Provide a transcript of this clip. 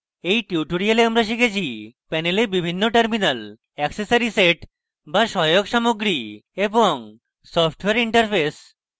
in tutorial আমরা শিখেছি